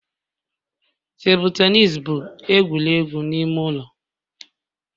Tebụl tenis bụ egwuregwu ime ụlọ.